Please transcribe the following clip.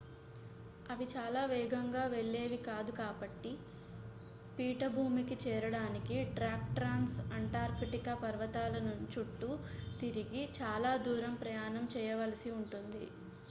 అవి చాలా వేగంగా వెళ్లేవి కాదు కాబట్టి పీఠభూమికి చేరడానికి ట్రాక్ ట్రాంస్అంటార్కిటిక్ పర్వతాల చుట్టూ తిరిగి చాలా దూరం ప్రయాణం చేయవలసి ఉంటుంది